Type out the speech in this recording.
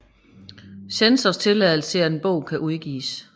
Censors tilladelse til at en bog kan udgives